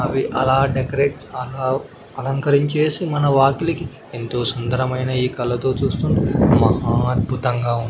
అవి అలా డెకరేట్ అలా అలంకరించేసి మన వాకిలికి ఎంతో సుందరమైన ఈ కళ్ళతో చూస్తుంటే మహా అద్భుతంగా ఉంది.